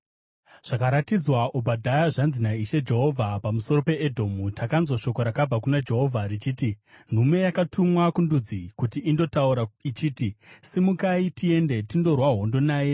Zvakaratidzwa Obhadhia. Zvanzi naIshe Jehovha pamusoro peEdhomu: Takanzwa shoko rakabva kuna Jehovha richiti: Nhume yakatumwa kundudzi kuti indotaura ichiti, “Simukai, tiende tindorwa hondo naye.”